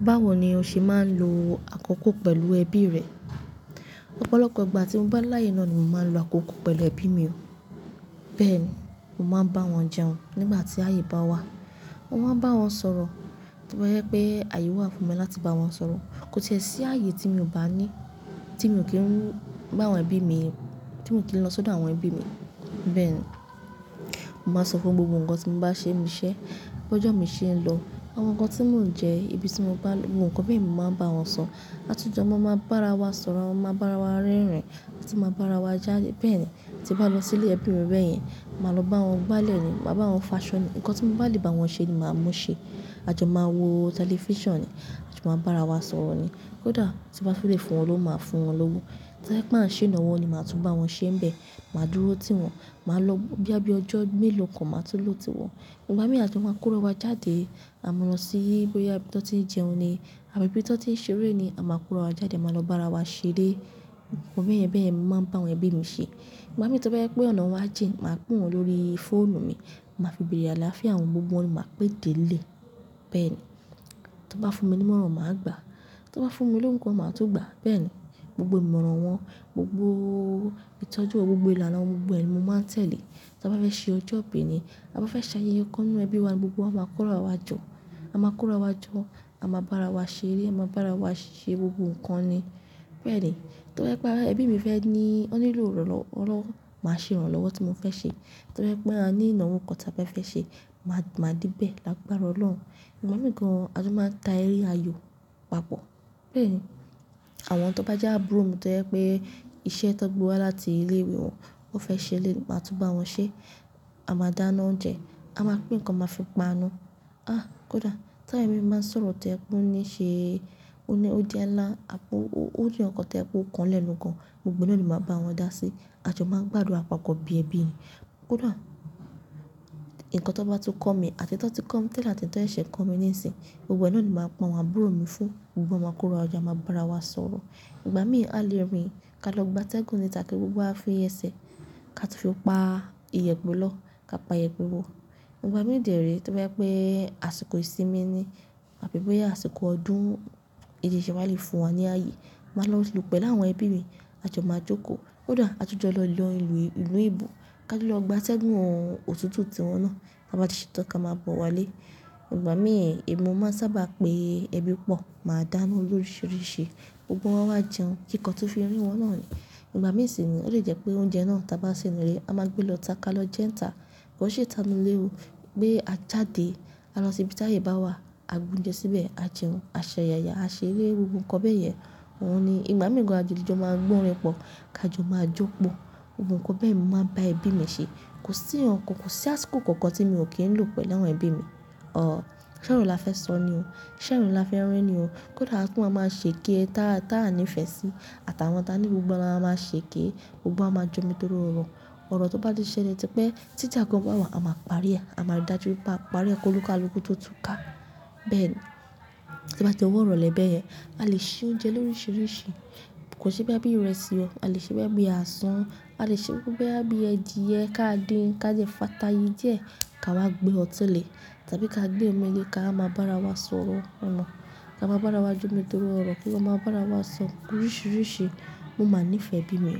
Báwo ni o ṣe máa ń lo àkókò pẹ̀lú ẹbí rẹ? Ọ̀pọ̀lọpọ̀ gbà tí mo bá láyè náà ni màá ń lo àkókò pẹ̀lú ẹbí mi o. Bẹ́ẹ̀ ni, mo máa ń bá wọn jẹun nígbà tí ayé bá wà. Mo máa ń bá wọn sọ̀rọ̀ bóyá pé ayé wà fún mi láti bá wọn sọ̀rọ̀. Kò tíẹ sí ààyè tí mi ò bá ní tí mi ò kí ń bá àwọn ẹbí mi, tí mo kì í lọ sọ́dọ̀ àwọn ẹbí mi. Bẹ́ẹ̀ ni, n màá sọ fún wọn gbogbo nǹkan tí mo bá ṣe n biṣẹ́, bó jọ mi ṣe ń lọ, àwọn nǹkan tí mò ń jẹ, ibi tí mo bá lọ, gbogbo nǹkan bẹ́ mi máa ń bá wọn sọ. Àtujọ́ máa máa bára wa sọ̀rọ̀, a máa máa bára wa rẹ́rìn-ín, a tì máa ń bára wa jáde. Bẹ́ẹ̀ ni, tí n bá lọ sí ilé ẹbí mi bẹ́ẹ̀ yẹn, màá lọ bá wọn gbálẹ̀ ni, màá bá wọn fàṣọ́ ni. Ǹnkan tí mo bá lè bá wọn ṣe ni màá mú ṣẹ. A jọ máa wo tẹlifíṣàn ni, a jọ máa bára wa sọ̀rọ̀ ni. Kódà tí n bá fẹ́ lè fún wọn lówó máa fún wọn lówó. Tó e pé á ń ṣe ìnáwó ni màá tún bá wọn ṣe n bẹ̀, màá dúró tìwọn, màá lọ bí àbí ọjọ́ mélòó kan màá tó lò tiwọn. Ngbà mí à tún máa ń kóra wá jáde, a mọ́ lọ sí bóyá ibi tọ́ n ti ń jẹun ni àbí ibi tọ́ n ti ń ṣeré ni a máa kóra wá jáde, màá lọ bárawa ṣe eré. Ǹnkan bẹ́yen bẹ́yen mi màá ń bá àwọn ẹbí mi ṣe. Ìgbà mí tó bá yẹ pé ọ̀nà wa jìn, màá pé wọn lórí fóònù mi, màá fi bèrè àlàáfíà wọn gbogbo wọn ni màá pè dé lé. Bẹ́ẹ̀ ni, tọ́ n bá fún mi ní ìmọ̀ràn, màá gbà á. Tọ́ n bá fún mi lówọ̀ gan, màá tún gbà. Bẹ́ẹ̀ ni, gbogbo ìmọ̀ràn wọn, gbogbo ìtọ́jú, gbogbo ìlànà gbogbo ẹ̀ ni mo máa tẹ̀lé. Tó n bá fẹ́ ṣe ọjọ́ ìbí ni, a bá fẹ́ ṣayẹyẹ kan inú ẹbí wa gbogbo wá máa kóra wá jọ, a máa kóra wá jọ, a máa bá ara wa ṣe eré, a máa bá ara wa ṣe gbogbo nǹkan ni. Bẹ́ẹ̀ ni, tó bá yẹ pé ẹbí mi fẹ́ ní ó nílò ìrànlọ́wọ́, ránlọ́wọ́ màá ṣe ìrànlọ́wọ́ tí mo fẹ́ ṣe. Tó bá yẹ pé a ní ìnáwó kan ta bá fẹ́ ṣe, máa, màá de bẹ́ẹ̀ lágbára Ọlọ́hun. Ngbà mìí gàn a tún máa ń ta eré ayò papọ̀. Bẹ́ẹ̀ ni, àwọn tọ́ n bá jẹ́ àbúrò mi to yẹ pé iṣẹ́ to gbé wá láti ilé ìwé wọn, wọn fẹ́ ṣe léni, màá tún bá wọn ṣe. A máa dáná oúnjẹ, a máa gbé nǹkan máa fi paanú. Ah! Kódà ti àwọn ẹbí máa ń sọ̀rọ̀ toyẹ̀ pé ó ní í ṣe ó ní ó jẹ́ nlá, a kú, ó jẹ́ nǹkan kàn toye pé ó kanlẹ̀nu gan, gbogbo náà ni màá bá wọn dá sí. A jọ máa ń gbádùn àpapọ̀ bí ẹbí ni. Kódà nǹkan tó bá tún kọ́ mi àti to ti kọ́ mi tẹ́lẹ̀ àti n to ye ṣẹ̀ kọ́ mi níìsìn, gbogbo ẹ náà ni màá pé àwọn àbúrò mi fún, gbogbo wọn máa kóra wá jọ, a máa bá ara wa sọ̀rọ̀. Ìgbà mí à lẹ́rìn, ká lọ gbátẹ́gùn níta kí gbogbo wa fi ẹsẹ, ká tún fi pa iyẹ̀pẹ̀ lọ ká pa iyẹ̀pẹ̀ bò. Ngbà mí dèérè tó bá yẹ pé àsìkò ìsinmi ni àbí bóyá àsìkò ọdún, bì ibiṣè wá le fún wa ní ààyè, màá lọ lọ pẹ̀lú àwọn ẹbí mi, a jọ máa jókòó. Kódà a tu jọ lọ lọ ìlú, ìlú ìbò, ká lọ gbátẹ́gùn òtútù tí wọ́n náà ká bá ti ṣe tán ká máa bọ̀ wá lé. Ngbà mí èmi máa mo ń sábà pé ẹbí pọ̀, màá dáná loríṣìíríṣìí, gbogbo wọn wá jẹun kí nǹkan tún fi rí wọn náà ni. Ngbà mí sì nìyí ó lè jẹ́ pé oúnjẹ náà ta bá sè nínú ilé, a máa gbé lọ ta ká lọ jẹ́ n ta. Kò n sí ìtànúlé o pé a jáde, ká lọ sí ibi tí ayé bá wà, a gún jẹ síbẹ̀, a jẹun, a ṣẹ̀yààyà, a ṣeré, gbogbo nǹkan bẹ́ẹ̀ yẹn, òhun ni. Ìgbà mí gan-an a jó le jọ máa gbọ́ orin pọ̀, ká jọ máa jó pọ̀. Ǹnkan bẹ́ẹ̀ mo máa ń bá ẹbí mi ṣe. Kò sí ohun kan, kò sí àsìkò kankan tí mi ò kí ń lọ pẹ̀lú àwọn ẹbí mi. Ọ̀ọ́, ṣoro la fẹ́ sọ ni o. Ṣẹ́rin la fẹ́ rín ni o. Kódà kí wọ́n máa ṣe kí ẹ tá, tá a ní ìfẹ́ sí àtàwọn ta ní gbogbo wa le máa ṣe eke e, gbogbo wá máa jọ́mi torí wọ̀n. Ọ̀rọ̀ tó bá ti ṣẹlẹ̀ tí pé tí ìjà kan bá wà, a máa parí ẹ́, a máa rí i dájú i pé a parí ẹ́ kó luka lukuu tó túká. Bẹ́ẹ̀ ni, to bá di ọwọ́ ìrọ̀lẹ́ bẹ́ẹ̀ yẹn, a lè ṣe oúnjẹ loríṣìíríṣìí. Kò n ṣe pé bóyá bí ìrẹsì o. A lè ṣe bóyá bí asun, a lè ṣe kuku bóyá bí ẹdìyẹ ká dín ká dẹ fata yí díẹ̀ ká wá gbé ọ̀tí lè tàbí ká gbé omi le ká wá máa bá ara wa sọ̀rọ̀ ọ́na. Ká máa bá ara wa jómi torí ọ̀rọ̀ kí wọn máa bá ara wa sọ oríṣìíríṣìí. Mo máa nífẹ̀ẹ́ ẹbí mi,